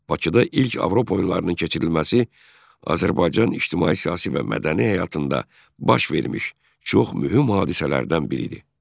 Bakıda ilk Avropa oyunlarının keçirilməsi Azərbaycan ictimai-siyasi və mədəni həyatında baş vermiş çox mühüm hadisələrdən biri idi.